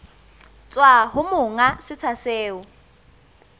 tswa ho monga setsha seo